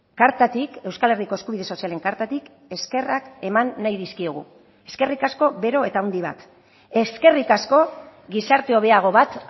kartatik euskal herriko eskubide sozialen kartatik eskerrak eman nahi dizkiegu eskerrik asko bero eta handi bat eskerrik asko gizarte hobeago bat